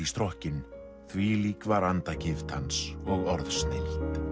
strokkinn þvílík var andagift hans og orðsnilld